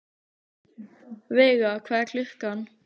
Veiga, hvað er klukkan?